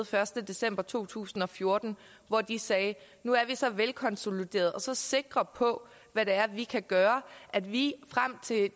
første december to tusind og fjorten hvor de sagde nu er vi så velkonsoliderede og så sikre på hvad det er vi kan gøre at vi frem til